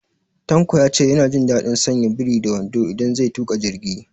Tanko ya ce ya na jin daɗin sanya biri da wando idan zai tuƙa jirgi